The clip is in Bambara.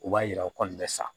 U b'a yira u kɔni bɛ sa